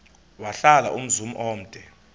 wahlala umzum omde